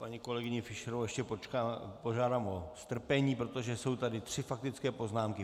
Paní kolegyni Fischerovou ještě požádám o strpení, protože jsou tady tři faktické poznámky.